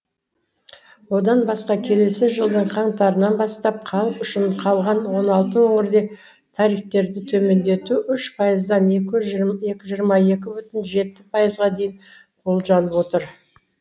одан басқа келесі жылдың қаңтарынан бастап халық үшін қалған он алты өңірде тарифтерді төмендету үш пайыздан жиырма екі бүтін жеті пайызға дейін болжанып отыр